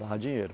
Dava dinheiro.